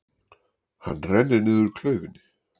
Hann rennir niður klaufinni.